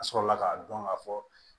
A sɔrɔla k'a dɔn ka fɔ